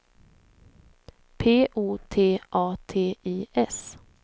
P O T A T I S